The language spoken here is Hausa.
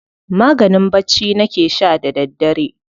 Maganin bacci nake sha da daddare.